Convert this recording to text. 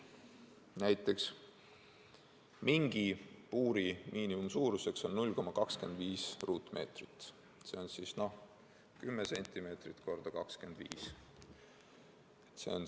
Näiteks mingipuuri miinimumsuurus on 0,25 ruutmeetrit, see on 10 × 25 cm.